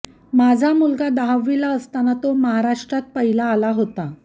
माझा मुलगा दहावीला असताना तो महाराष्ट्रात पहिला आला होता